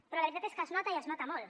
però la veritat és que es nota i es nota molt